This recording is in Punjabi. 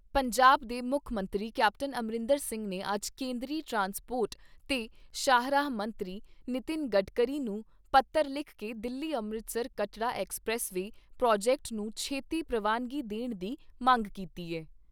ਪੰਜਾਬ ਦੇ ਮੁੱਖ ਮੰਤਰੀ ਕੈਪਟਨ ਅਮਰਿੰਦਰ ਸਿੰਘ ਨੇ ਅੱਜ ਕੇਂਦਰੀ ਟਰਾਂਸਪੋਰਟ ਤੇ ਸ਼ਾਹਰਾਹ ਮੰਤਰੀ ਨਿਤਿਨ ਗਡਕਰੀ ਨੂੰ ਪੱਤਰ ਲਿਖ ਕੇ Delhi Amritsar Katra expressway project ਨੂੰ ਛੇਤੀ ਪ੍ਰਵਾਨਗੀ ਦੇਣ ਦੀ ਮੰਗ ਕੀਤੀ ਏ।